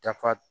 Dafa